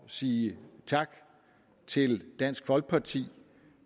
sige tak til dansk folkeparti